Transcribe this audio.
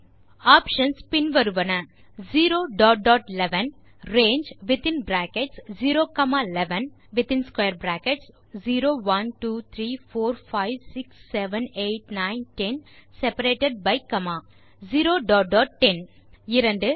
options பின் வருவன பின் range0 11 within brackets 0 1 2 3 4 5 6 7 8 9 10 separated by comma பின் இன் பிராக்கெட்ஸ் 2